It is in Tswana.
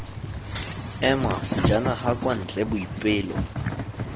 ema sejanaga kwa ntle boipelo